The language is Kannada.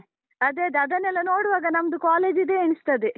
ಅದೇ ಅದೇ, ಅದನ್ನೆಲ್ಲ ನೋಡುವಾಗ ನಮ್ದು college ದ್ದೇ ಎಣಿಸ್ತದೆ.